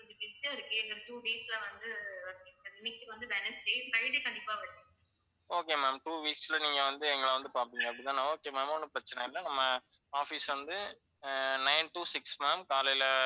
okay ma'am two weeks ல நீங்க வந்து எங்கள வந்து பாப்பீங்க அப்படித்தான okay ma'am ஒண்ணும் பிரச்சனை இல்ல நம்ம office வந்து அஹ் nine to six ma'am காலையில.